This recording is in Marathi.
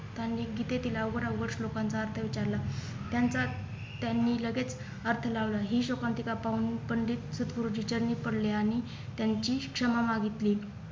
तांणी गीतेतील उघडा उघड श्लोकांचा अर्थ विचारला त्यांही त्यांनी लगेच अर्थ लावला हि शोकांतिका पाहून पंडित सदगुरुजी चरणी पडले आणि त्यांची क्षमा मागितली